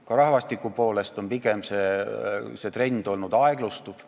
Ka rahvastiku mõttes on trend olnud pigem aeglustuv.